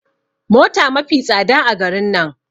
Mota mafi tsada a garin nan